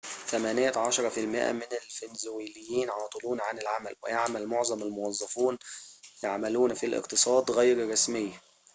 ثمانية عشر في المائة من الفنزويليين عاطلون عن العمل ويعمل معظم الموظفون يعملون في الاقتصاد غير الرسمي